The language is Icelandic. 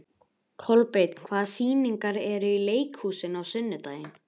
Flestir stefna á móti mér, eru á leið í bæinn.